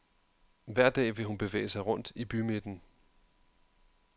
Hver dag vil hun bevæge sig rundt i bymidten.